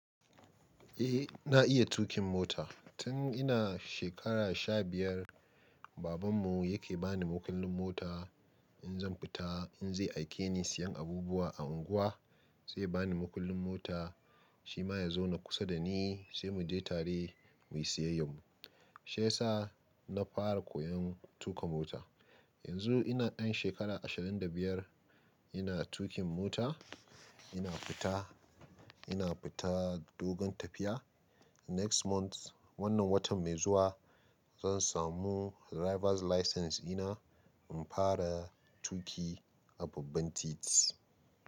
Eh na iya tuƙin mota. Tun ina shekara sha biyar, babanmu yake bani makullin mota in zan fita. In zai aike ni siyan abubuwa a unguwa, sai yabani makullin mota, shi ma ya zau na kusa da ni, sai mu je tare mu yi siyayanmu. Shi yasa na fara koyon tuƙa mota. Yanzu ina ɗan shekara ashirin da biyar, ina tuƙin mota, ina fita, ina fita dogon tafiya. Next month, wannan watan mai zuwa zan samu drivers license ina in fara tuƙi a babban titi.